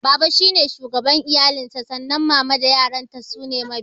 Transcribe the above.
Baba shine shugaban iyali sa sannan mama da ƴaƴan ta kuma sune mabiya